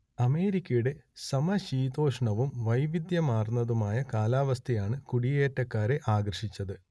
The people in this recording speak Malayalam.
അമേരിക്കയൂടെ സമശീതോഷ്ണവും വൈവിധ്യമാർന്നതുമായ കാലവസ്ഥയയണ് കൂടിയേറ്റക്കാരെ ആകർഷിച്ചത്